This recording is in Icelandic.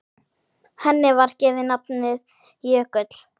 Henni var gefið nafnið Jökull.